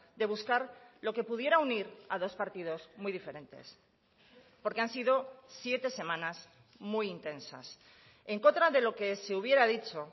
de buscar lo que pudiera unir a dos partidos muy diferentes porque han sido siete semanas muy intensas en contra de lo que se hubiera dicho